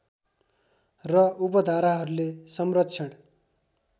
र उपधाराहरूले संरक्षण